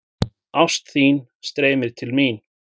Ást þín streymir til mín.